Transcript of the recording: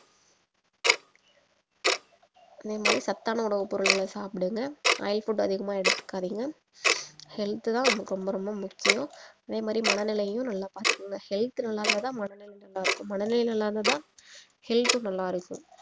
அதே மாதிரி சத்தான உணவு பொருட்களை சாப்பிடுங்க oil food அதிகமா எடுத்துக்காதீங்க health தான் நமக்கு ரொம்ப ரொம்ப முக்கியம் அதே மாரி மனநிலையையும் நல்லா பாத்துக்குங்க health நல்லா இருந்தாதான் மனநிலையும் நல்லா இருக்கும் மனநிலையும் நல்லா இருந்தா தான் health உம் நல்லா இருக்கும் இல்லயா